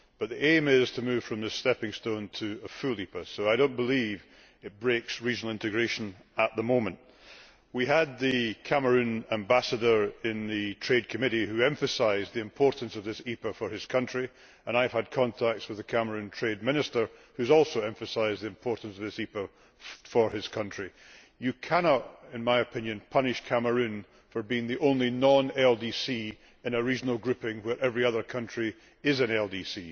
The aim is to move from the stepping stone to a full EPA, so I do not believe it breaks regional integration at the moment. We had the Cameroon Ambassador in the Trade Committee, who emphasised the importance of this EPA for his country, and I have had contact with the Cameroon Trade Minister, who has also emphasised the importance of this EPA for his country. You cannot, in my opinion, punish Cameroon for being the only non LDC in a regional grouping where every other country is an LDC.